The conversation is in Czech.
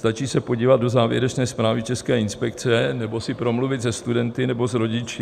Stačí se podívat do závěrečné zprávy české inspekce nebo si promluvit se studenty nebo s rodiči.